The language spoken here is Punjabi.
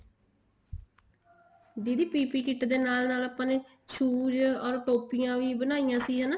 ਦੀਦੀ PPE kit ਦੇ ਨਾਲ ਨਾਲ ਆਪਾਂ ਨੇ shoes or ਟੋਪੀਆਂ ਵੀ ਬਣਾਈਆਂ ਸੀ ਹਨਾ